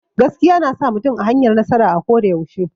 Gaskiya na sa mutum a hanyar nasara a ko da yaushe.